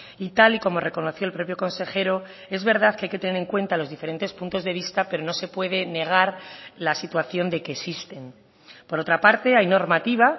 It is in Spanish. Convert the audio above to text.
y tal y como reconoció el propio consejero es verdad que hay que tener en cuenta los diferentes puntos de vista pero no se puede negar la situación de que existen por otra parte hay normativa